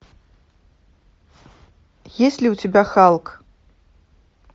есть ли у тебя халк